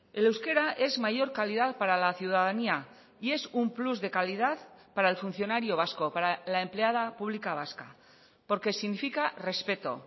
el euskera es mayor calidad para la ciudadanía y es un plus de calidad para el funcionario vasco para la empleada pública vasca porque significa respeto